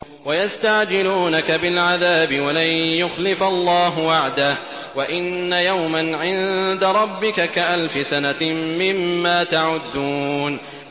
وَيَسْتَعْجِلُونَكَ بِالْعَذَابِ وَلَن يُخْلِفَ اللَّهُ وَعْدَهُ ۚ وَإِنَّ يَوْمًا عِندَ رَبِّكَ كَأَلْفِ سَنَةٍ مِّمَّا تَعُدُّونَ